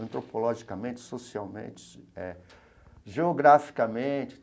antropologicamente, socialmente, eh geograficamente.